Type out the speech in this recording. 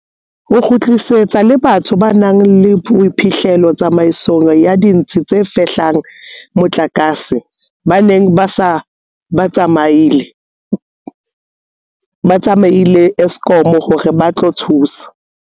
Ho kgutlisitswe le batho ba nang le boiphihlelo tsamaisong ya ditsi tse fehlang motlakase ba neng ba se ba tsamaile Eskom hore ba tlo thusa.